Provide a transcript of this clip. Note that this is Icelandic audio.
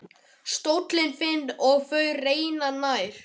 Stóllinn þinn og þú renna nær.